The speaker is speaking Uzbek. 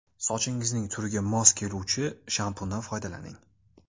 Sochingizning turiga mos keluvchi shampundan foydalaning.